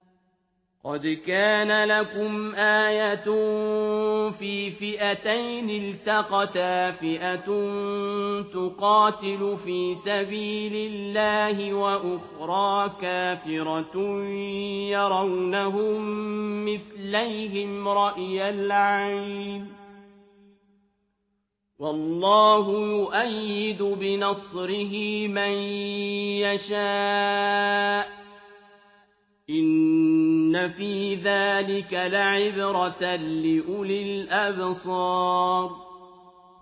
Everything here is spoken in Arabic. قَدْ كَانَ لَكُمْ آيَةٌ فِي فِئَتَيْنِ الْتَقَتَا ۖ فِئَةٌ تُقَاتِلُ فِي سَبِيلِ اللَّهِ وَأُخْرَىٰ كَافِرَةٌ يَرَوْنَهُم مِّثْلَيْهِمْ رَأْيَ الْعَيْنِ ۚ وَاللَّهُ يُؤَيِّدُ بِنَصْرِهِ مَن يَشَاءُ ۗ إِنَّ فِي ذَٰلِكَ لَعِبْرَةً لِّأُولِي الْأَبْصَارِ